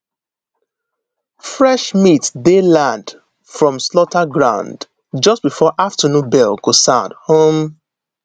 fresh meat dey land from slaughter ground just before afternoon bell go sound um